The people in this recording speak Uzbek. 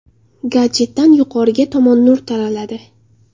Gadjetdan yuqoriga tomon nur taraladi.